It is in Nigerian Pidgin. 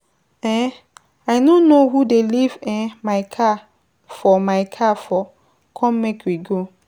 um I no know who dey leave um my car for my car for, come make we go